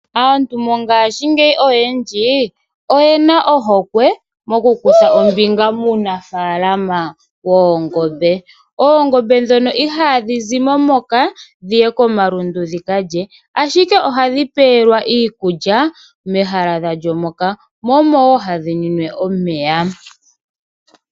Aantu mongashingeyi oyendji oyena ohokwe moku kutha ombinga muunafalama woongombe. Oongombe ndhono ihadhi zimo moka dhiye komalundu dhi kalye ,ashike ohadhi pewelwa iikulya mehala dhalyo moka omowo hadhi nwine omeya.